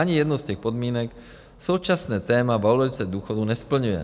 Ani jednu z těch podmínek současné téma valorizace důchodů nesplňuje.